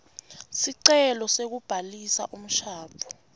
sicelo sekubhalisa umshado